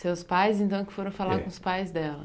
Seus pais, então, que foram falar com os pais dela?